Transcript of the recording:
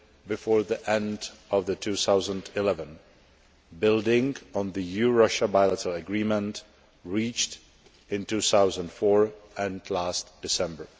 before the end of 2011, building on the EU Russia bilateral agreement reached in 2004 and last December.